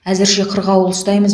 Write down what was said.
әзірше қырғауыл ұстаймыз